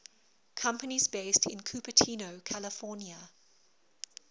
companies based in cupertino california